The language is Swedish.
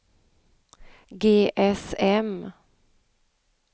GSM